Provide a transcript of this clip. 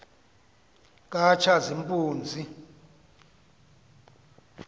katshazimpunzi